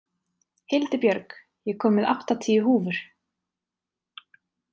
Hildibjörg, ég kom með áttatíu húfur!